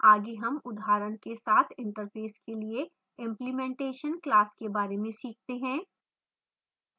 आगे हम उदाहरण के साथ interface के लिए implementation class के बारे में सीखते हैं